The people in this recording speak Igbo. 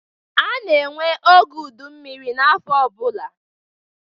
A na-enwe oge ụdị mmiri afọ ọbụla